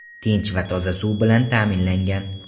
Tinch va toza suv bilan ta’minlangan.